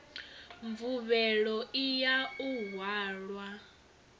mvuvhelo i ya u hwala